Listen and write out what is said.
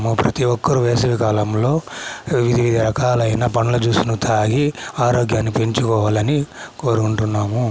ప్రతి ఒక్కరు వేసవి కాలం లో వివిధ రకాలు అయిన పండ్ల జూస్ ని తాగి ఆరోగ్యన్ని పెంచుకోవాలి అని కోరుకునటునాము.